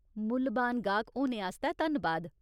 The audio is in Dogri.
मुल्लबान गाह्क होने आस्तै धन्नबाद।